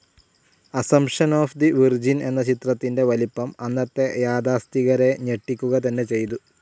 Assumption of the Virgin എന്ന ചിത്രത്തിൻ്റെ വലിപ്പം അന്നത്തെ യാഥാസ്ഥിതികരെ ഞെട്ടിക്കുക തന്നെ ചെയ്ചു.